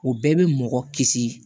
O bɛɛ bɛ mɔgɔ kisi